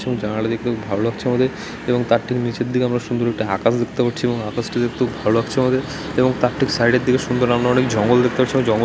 এই জানালাটা দেখতে খুব ভাল লাগছে আমাদের এবং তার ঠিক নিচের দিকে আমরা সুন্দর একটি আকাশ দেখতে পাচ্ছি এবং আকাশ টি দেখতে খুব ভাল লাগছে আমাদের এবং তার ঠিক সাইডের দিকে সুন্দর আমরা অনেক জঙ্গল দেখতে পাচ্ছি এবং জঙ্গল --